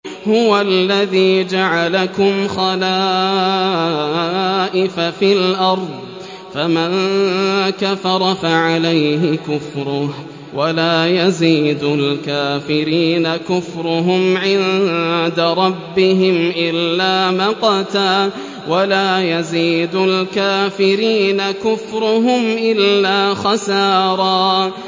هُوَ الَّذِي جَعَلَكُمْ خَلَائِفَ فِي الْأَرْضِ ۚ فَمَن كَفَرَ فَعَلَيْهِ كُفْرُهُ ۖ وَلَا يَزِيدُ الْكَافِرِينَ كُفْرُهُمْ عِندَ رَبِّهِمْ إِلَّا مَقْتًا ۖ وَلَا يَزِيدُ الْكَافِرِينَ كُفْرُهُمْ إِلَّا خَسَارًا